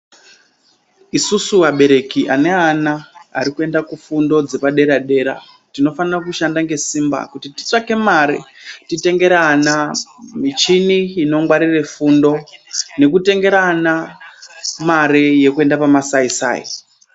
Isusu abereki ane ana ari kuenda kufundo dzepadera-dera, tinofana kushanda ngesimba, kuti titsvake mare, titengere ana michini inongwarire fundo, nekutengera ana ,mare yekuenda pamasaisai.